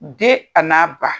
Den a n'a ba